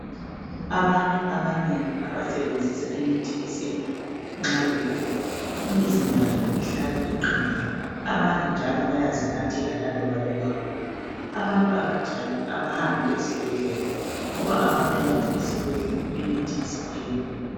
Abantu abanengi abasebenzisa imithi yesintu nxa begula imizimba yabo ihlala iqinile. Abanye njalo bayazinathela laloba bengaguli. Abantu abanjalo abahambi esibhedlela ngoba abantu bathi esibhedlela imithi isithengwa.